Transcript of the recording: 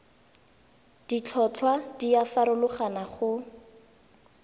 ditlhotlhwa di a farologana go